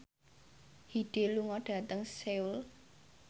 Hyde lunga dhateng Seoul